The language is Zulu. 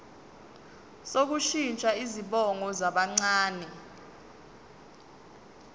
sokushintsha izibongo zabancane